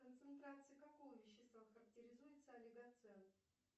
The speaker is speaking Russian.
концентрацией какого вещества характеризуется олигоцен